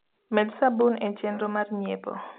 med sabun e chenro mar nyiepo